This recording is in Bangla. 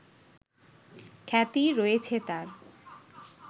খ্যাতি রয়েছে তার